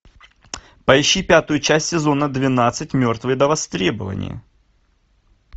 поищи пятую часть сезона двенадцать мертвые до востребования